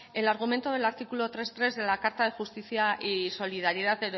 el argumento del artículo tres punto tres de la carta de justicia y solidaridad